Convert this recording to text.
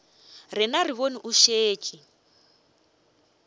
rena re bone o šetše